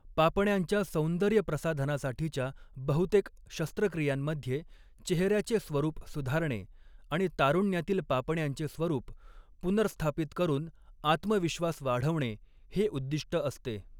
पापण्यांच्या सौंदर्यप्रसाधनासाठीच्या बहुतेक शस्त्रक्रियांमध्ये चेहऱ्याचे स्वरूप सुधारणे आणि तारुण्यातील पापण्यांचे स्वरूप पुनर्स्थापित करून आत्मविश्वास वाढवणे हे उद्दिष्ट असते.